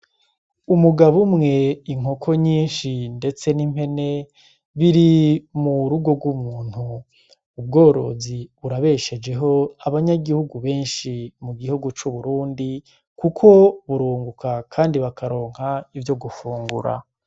Umugabo umwe inkoko nyinshi ndetse n'impene biri mu rugo rw'umuntu ubworozi burabeshejeho abanyagihugu benshi mu gihugu c'uburundi kuko b'urunguka kandi bakaronka ivyo gufungura